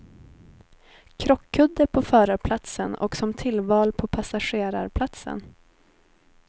Krockkudde på förarplatsen och som tillval på passagerarplatsen.